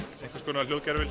einhvers konar